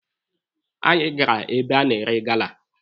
Anyị gara ebe a na-ere gala.